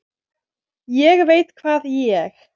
ÉG VEIT HVAÐ ÉG